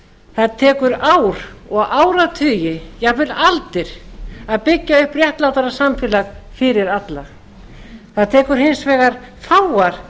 það tekur ár og áratugi jafnvel aldir að byggja upp réttlátara samfélag fyrir alla það tekur hins vegar fáar